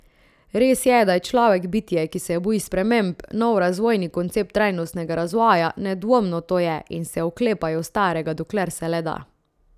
Res je, da je človek bitje, ki se boji sprememb, nov razvojni koncept trajnostnega razvoja, nedvomno to je, in se oklepajo starega dokler se le da.